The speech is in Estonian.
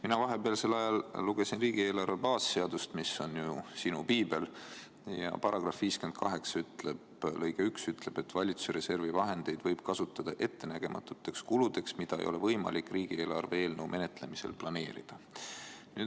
Mina vahepealsel ajal lugesin riigieelarve baasseadust – mis on sinu piibel – ja § 58 lõige 1 ütleb: "Vabariigi Valitsuse reservi vahendeid võib kasutada ettenägematuteks kuludeks ja investeeringuteks, mida ei ole võimalik riigieelarve eelnõu menetlemisel planeerida.